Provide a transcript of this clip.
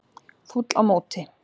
Fúll á móti